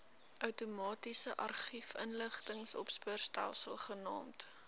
outomatiese argiefinligtingsopspoorstelsel genaamd